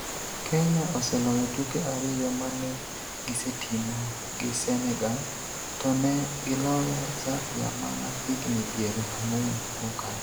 Kenya oseloyo tuke ariyo ma ne gisetimo gi Senegal, to ne giloyo Zambia mana higni piero ang''wen mokalo.